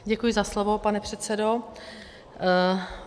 Děkuji za slovo, pane předsedo.